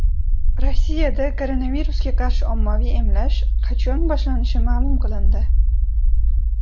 Rossiyada koronavirusga qarshi ommaviy emlash qachon boshlanishi ma’lum qilindi.